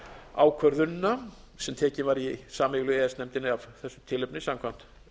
ákvörðunina sem tekin var í sameiginlegu e e s nefndinni af þessu tilefni samkvæmt